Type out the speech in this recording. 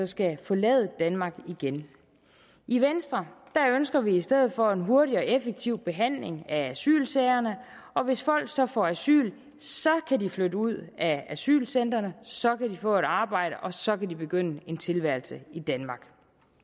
skal forlade danmark igen i venstre ønsker vi i stedet for en hurtig og effektiv behandling af asylsagerne og hvis folk så får asyl kan de flytte ud af asylcentrene så kan de få et arbejde og så kan de begynde en tilværelse i danmark